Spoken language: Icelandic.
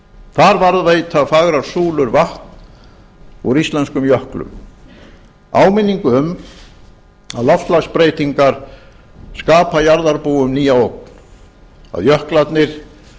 þar varðveita fagrar súlur vatn úr íslenskum jöklum áminningu um að loftslagsbreytingar skapa jarðarbúum nýja ógn að jöklarnir